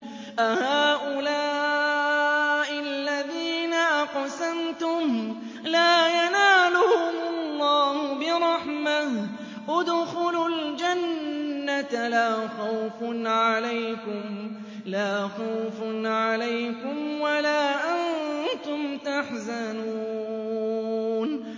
أَهَٰؤُلَاءِ الَّذِينَ أَقْسَمْتُمْ لَا يَنَالُهُمُ اللَّهُ بِرَحْمَةٍ ۚ ادْخُلُوا الْجَنَّةَ لَا خَوْفٌ عَلَيْكُمْ وَلَا أَنتُمْ تَحْزَنُونَ